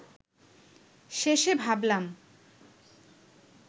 শেষে ভাবলাম